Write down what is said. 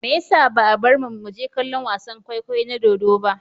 Me yasa ba a bar mu mu je kallon wasan kwaikwayo na dodo ba?